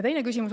Teine küsimus …